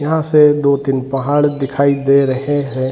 यहां से दो-तीन पहाड़ दिखाई दे रहे हैं।